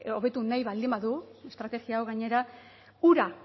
hobetu nahi baldin badu estrategia hau gainera hura